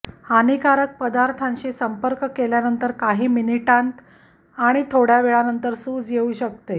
हानिकारक पदार्थांशी संपर्क केल्यानंतर काही मिनिटांत आणि थोडा वेळानंतर सूज येऊ शकते